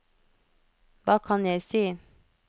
hva kan jeg si